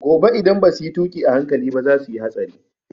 Gobe idan basu yi tuƙi a hankali ba za su yi hatsari